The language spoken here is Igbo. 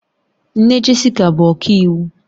Nne Jessica bụ ọkàiwu